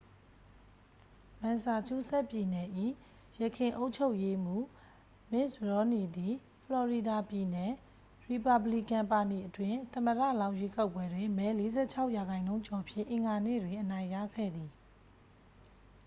မန်ဆာချူးဆက်ပြည်နယ်၏ ယခင်အုပ်ချုပ်ရေးမှုး မစ်တ်ရော်မ်နီသည် ဖလော်ရီဒါပြည်နယ် ရီပါဘလီကန်ပါတီအတွင်း သမ္မတလောင်းရွေးကောက်ပွဲတွင် မဲ 46 ရာနှုန်းကျော်ဖြင့် အင်္ဂါနေ့တွင် အနိုင်ရခဲ့သည်